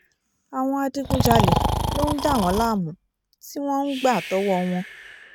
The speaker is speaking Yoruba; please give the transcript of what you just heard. àwọn adigunjalè ló ń dà wọ́n láàmú tí wọ́n ń gbà tọwọ́ wọn